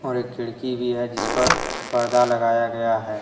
और एक खिड़की भी है जिस पर पर्दा लगाया गया है।